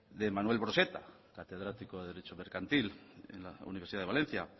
de manuel broseta catedrático de derecho mercantil en la universidad de valencia